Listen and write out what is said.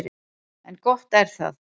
En gott er það.